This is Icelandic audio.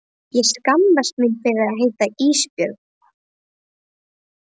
Ég skammast mín fyrir að heita Ísbjörg.